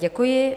Děkuji.